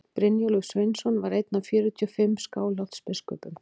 brynjólfur sveinsson var einn af fjörutíu og fimm skálholtsbiskupum